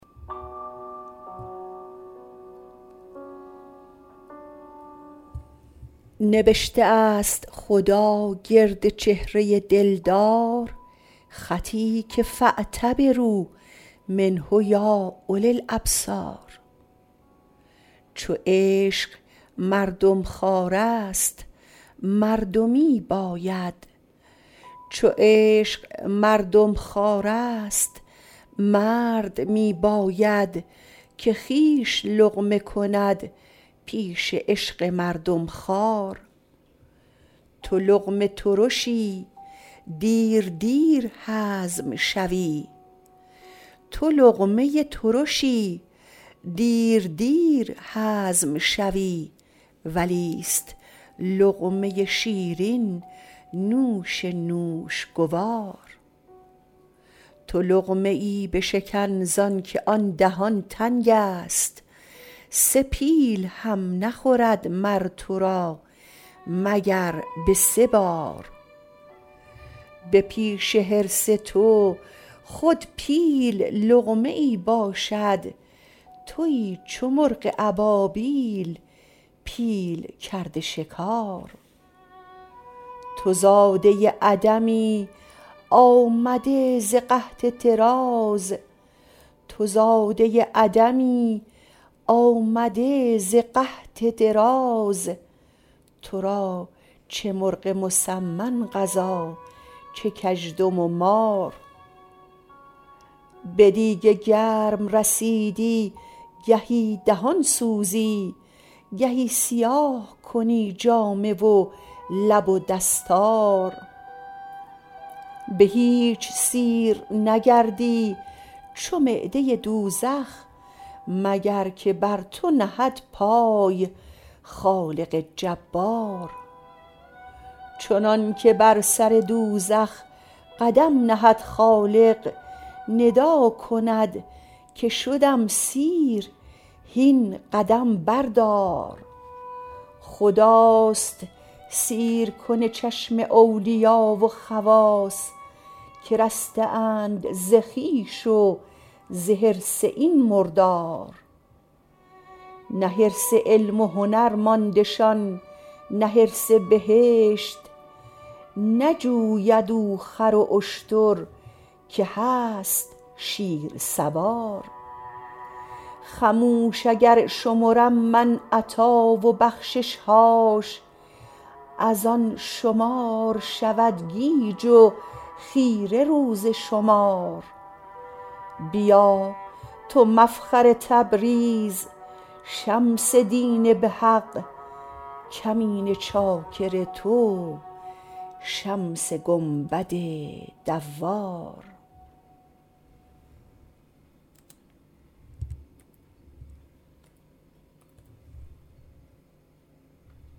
نبشته ست خدا گرد چهره دلدار خطی که فاعتبروا منه یا اولی الابصار چو عشق مردم خوارست مردمی باید که خویش لقمه کند پیش عشق مردم خوار تو لقمه ترشی دیر دیر هضم شوی ولیست لقمه شیرین نوش نوش گوار تو لقمه ای بشکن زانک آن دهان تنگست سه پیل هم نخورد مر تو را مگر به سه بار به پیش حرص تو خود پیل لقمه ای باشد توی چو مرغ ابابیل پیل کرده شکار تو زاده عدمی آمده ز قحط دراز تو را چه مرغ مسمن غذا چه کژدم و مار به دیگ گرم رسیدی گهی دهان سوزی گهی سیاه کنی جامه و لب و دستار به هیچ سیر نگردی چو معده دوزخ مگر که بر تو نهد پای خالق جبار چنانک بر سر دوزخ قدم نهد خالق ندا کند که شدم سیر هین قدم بردار خداست سیرکن چشم اولیا و خواص که رسته اند ز خویش و ز حرص این مردار نه حرص علم و هنر ماندشان نه حرص بهشت نجوید او خر و اشتر که هست شیرسوار خموش اگر شمرم من عطا و بخشش هاش از آن شمار شود گیج و خیره روز شمار بیا تو مفخر تبریز شمس دین به حق کمینه چاکر تو شمس گنبد دوار